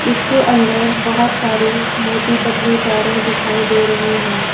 इसके अंदर बहुत सारी मोटी पतली तारें दिखाई दे रही हैं।